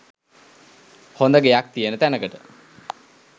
හොඳ ගෙයක් තියෙන තැනකට.